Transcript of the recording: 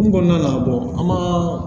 Kun kɔnɔna an ma